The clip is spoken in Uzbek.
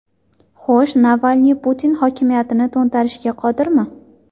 Xo‘sh, Navalniy Putin hokimiyatini to‘ntarishga qodirmi?